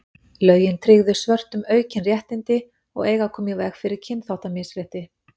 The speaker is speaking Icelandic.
lögin tryggðu svörtum aukin réttindi og eiga að koma í veg fyrir kynþáttamisrétti